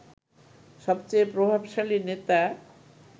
সবেচেয়ে প্রভাবশালী নেতা